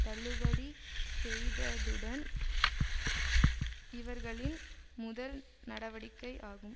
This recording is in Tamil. தள்ளுபடி செய்ததுடன் இவர்களின் முதல் நடவடிக்கை ஆகும்